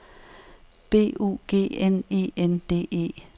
B U G N E N D E